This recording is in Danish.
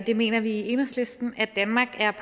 det mener vi i enhedslisten at danmark er